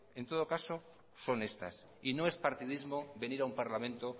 en todo caso son estas y no es partidismo venir a un parlamento